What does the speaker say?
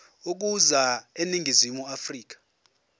ukuza eningizimu afrika